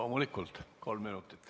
Loomulikult, kolm minutit.